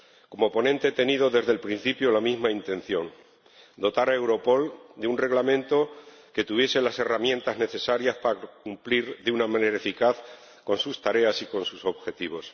Como ponente, he tenido desde el principio la misma intención dotar a Europol de un Reglamento que tuviese las herramientas necesarias para cumplir de una manera eficaz con sus tareas y con sus objetivos.